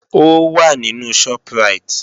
Ó wà nínú Shoprite